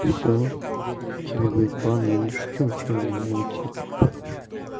и всё тебе будет бан я не шучу чел ну тип